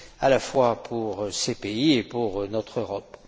à la fois pour ces pays et pour notre Europe.